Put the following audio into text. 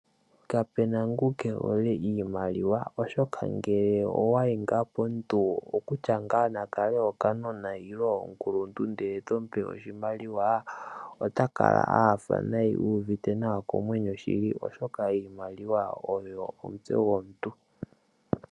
Kapena ngu keehole iimaliwa oshoka ngele owayi ngaa nande opomuntu okutya ngaa nande okanona nenge omukuluntu ndele tomupe oshimaliwa ota kala a nyanyukwa nayi oshoka oshimaliwa osho omutse gomuntu.